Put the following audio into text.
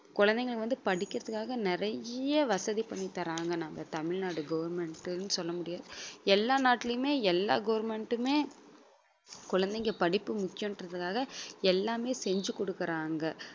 குழந்தைங்களுக்கு வந்து படிக்கிறதுக்காக நிறைய வசதி பண்ணி தர்றாங்க நாங்க தமிழ்நாடு government ன்னு சொல்ல முடியாது எல்லா நாட்டிலயுமே எல்லா government மே குழந்தைங்க படிப்பு முக்கியம்ன்றதுக்காக எல்லாமே செஞ்சு கொடுக்கிறாங்க